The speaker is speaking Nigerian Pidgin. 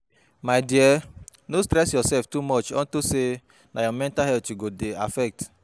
My dear no stress yourself too much unto say na your mental health e go dey affect